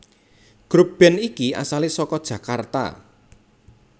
Grup band iki asale saka Jakarta